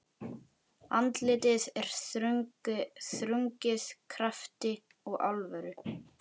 Andlitið er þrungið krafti og alvöru.